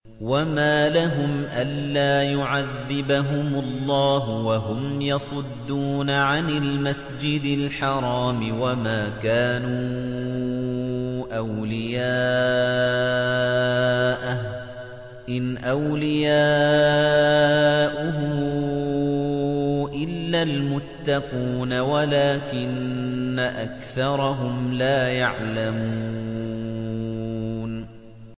وَمَا لَهُمْ أَلَّا يُعَذِّبَهُمُ اللَّهُ وَهُمْ يَصُدُّونَ عَنِ الْمَسْجِدِ الْحَرَامِ وَمَا كَانُوا أَوْلِيَاءَهُ ۚ إِنْ أَوْلِيَاؤُهُ إِلَّا الْمُتَّقُونَ وَلَٰكِنَّ أَكْثَرَهُمْ لَا يَعْلَمُونَ